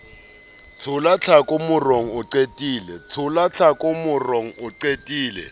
tshola tlhako morong o qatile